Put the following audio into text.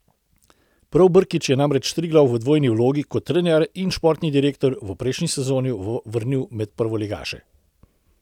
Prav Brkić je namreč Triglav v dvojni vlogi, kot trener in športni direktor, v prejšnji sezoni vrnil med prvoligaše.